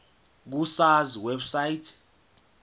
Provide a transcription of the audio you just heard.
ku sars website